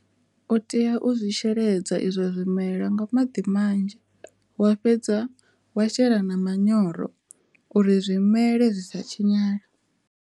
U tea u zwi sheledza izwo zwimela nga maḓi manzhi wa fhedza wa shela na manyoro uri zwimela zwi sa tshinyale.